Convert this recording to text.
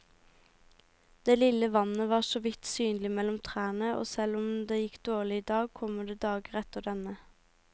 Det lille vannet var såvidt synlig mellom trærne, og selv om det gikk dårlig i dag, kommer det dager etter denne.